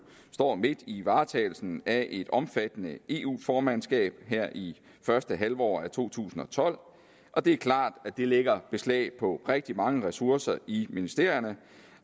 står midt i varetagelsen af et omfattende eu formandskab her i første halvår af to tusind og tolv og det er klart at det lægger beslag på rigtig mange ressourcer i ministerierne